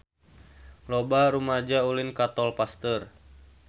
Loba rumaja ulin ka Tol Pasteur